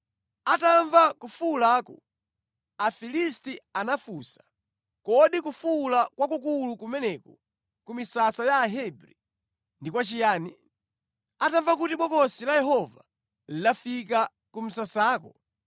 Atamva kufuwulaku, Afilisti anafunsa, “Kodi kufuwula kwakukulu kumeneku ku misasa ya Ahebri ndi kwachiyani?” Atamva kuti Bokosi la Yehova lafika ku msasako,